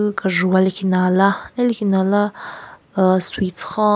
Kejvu wa lekhinala halikhinala ahh sweets khon--